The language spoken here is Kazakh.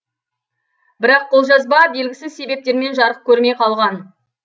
бірақ қолжазба белгісіз себептермен жарық көрмей қалған